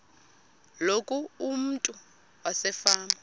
loku umntu wasefama